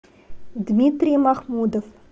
дмитрий махмудов